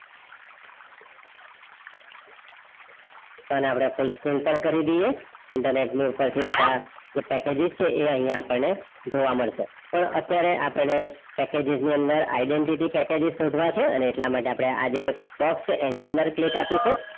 file અપડે full screen પર કરી દઈએ ઇન્ટરનેટના ઉપરથી બધા જે પેકેજીસ છે એ આઇયાહ આપણે જોવા મદસે પણ આપણે અટિયરહ આપણે પેકેજીસ ની અંદર identity પેકેજીસ સોધવા છે અને એટલા માટે અપડે આજે બસ તો આની અંદર click અપિસું